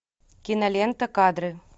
кинолента кадры